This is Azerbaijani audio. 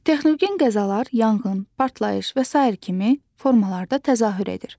Texnogen qəzalar yanğın, partlayış və sair kimi formalarda təzahür edir.